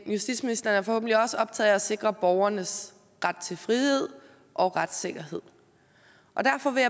justitsministeren er forhåbentlig også optaget af at sikre borgernes ret til frihed og retssikkerhed og derfor vil